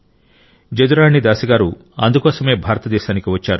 జదురాణి దాసి గారు అందుకోసమే భారతదేశానికి వచ్చారు